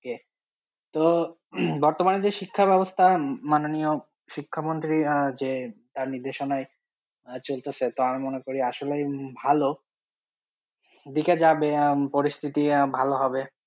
কে তো বর্তমানের যে শিক্ষার ব্যবস্থা মাননীয় শিক্ষামন্ত্রীর আহ যে তার নির্দেশনায় আহ চলতেছে তা আমি মনে করি আসলেই ভালো দিকে যাবে আহ পরিস্থিতি আহ ভালো হবে।